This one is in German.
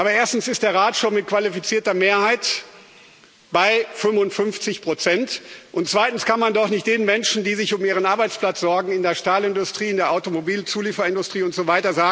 Aber erstens ist der Rat schon mit qualifizierter Mehrheit bei 55 und zweitens kann man doch nicht den Menschen, die sich um ihren Arbeitsplatz sorgen, in der Stahlindustrie, in der Automobilzulieferindustrie usw.,